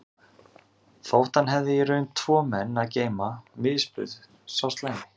Þótt hann hefði í raun tvo menn að geyma misbauð sá slæmi